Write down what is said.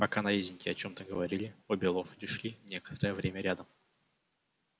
пока наездники о чём-то говорили обе лошади шли некоторое время рядом